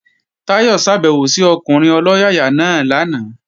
Táyọ̀ ṣàbèwò sí ọkùnrin ọlọ́yàyà náà lánàá